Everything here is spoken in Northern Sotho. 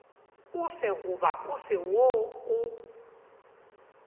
ofe goba ofe wo o